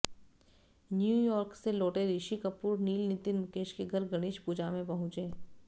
New York से लौटे ऋषि कपूर नील नितिन मुकेश के घर गणेश पूजा में पहुंचे